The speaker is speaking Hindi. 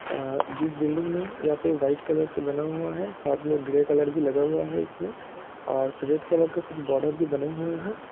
अ जिस बिल्डिंग मे यहाँ पे वाइट कलर से बना हुआ है साथ मे ग्रे कलर भी लगा हुआ है इसमे और रेड कलर का कुछ बॉर्डर भी बने हुऐ है।